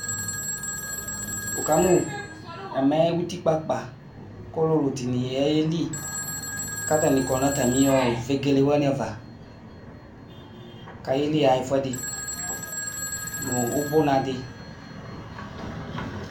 Wʋkamʋ ɛmɛ utikpa akpa, kʋ ɔlʋlʋ dɩnɩ ayeli kʋ atanɩ kɔnʋ atamɩ vegele wanɩ kʋ ayeli yaxa ɛfʋɛdɩ nʋ ʋbʋnadɩ.